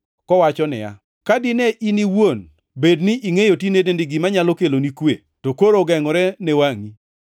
kowacho niya, “Ka dine in iwuon bed ni ingʼeyo tinendeni gima nyalo keloni kwe, to koro ogengʼore ne wangʼi.